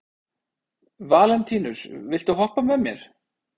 Valentínus, viltu hoppa með mér?